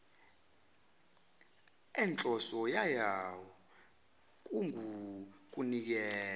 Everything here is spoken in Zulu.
enhloso yayo kungukunikela